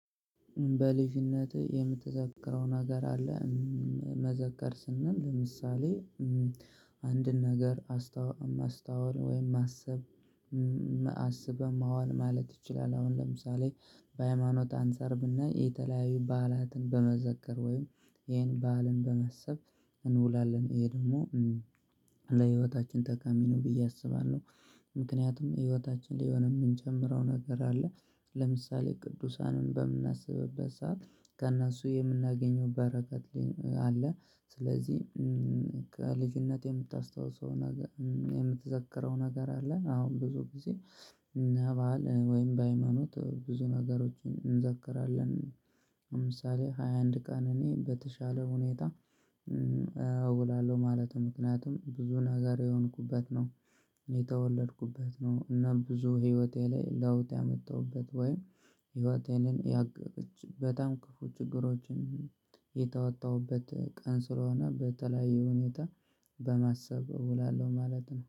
በልጅነትህ የምትዘክረው ነገር አለ መዘከር ስንል ለምሳሌ አንድን ነገር ማስታወል ወይም ማሰብ አስበህ መዋል ማለት ይችላል። አሁን ለምሳሌ በሃይማኖት አንፃር ብናይ የተለያዩ በዓላትን በመዘከር ወይም ይሄን በዓልን በማሰብ እንውላለን ይሄ ደግሞ ለህይወታችን ተቃሚ ነው ብዬ አስባለሁ። ምክንያቱም ህይወታችን ላይ የሆነ የምንጨምረው ነገር አለ ለምሳሌ ቅዱሳንን በምናስብበት ሰዓት ከእነሱ የምናገኘው በረከት አለ። ስለዚህ ከልጅነት የምታስታውሰው የምትዘከረው ነገር አለን? አሁን ብዙ ጊዜ በኛ ባህል ወይም በሃይማኖት ብዙ ነገሮችን እንዘክራለን። ለምሳሌ ሃያ አንድ ቀን እኔ በተሻለ ሁኔታ እውላለሁ ማለት ነው። ምክንያቱም ብዙ ነገር የሆንኩበት ነው የተወለድኩበት ነው። እና ብዙ ህይወቴ ላይ ለውጥ ያመጣሁበት ወይም ህይወቴን በጣም ክፉ ችግሮችን የተወጣሁበት ቀን ስለሆነ በተለያዩ ሁኔታ በማሰብ እውላለሁ ማለት ነው